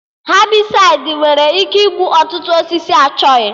Hebịsaịdi nwere ike igbu ọtụtụ osisi achọghị